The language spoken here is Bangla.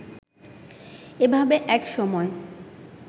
এভাবে এক সময়